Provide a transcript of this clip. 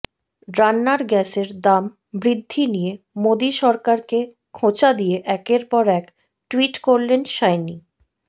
রান্নার গ্যাসের দাম বৃদ্ধি নিয়ে মোদী সরকারকে খোঁচা দিয়ে একের পর এক টুইট করলেন সায়নী